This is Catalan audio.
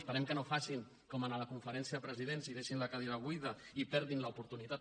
esperem que no facin com a la conferència de presidents i deixin la cadira buida i perdin l’oportunitat